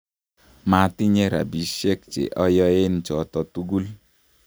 matinye robisiek che oyoen choto tugul